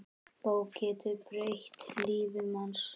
Bók getur breytt lífi manns.